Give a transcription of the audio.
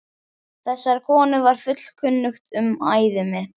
Þessari konu var fullkunnugt um æði mitt.